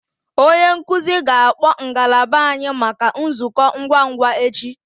Onye nkuzi ga-akpọ ngalaba anyị maka nzukọ ngwa ngwa echi